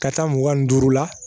Ka taa mugan ni duuru la